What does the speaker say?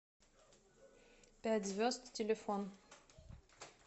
пять звезд телефон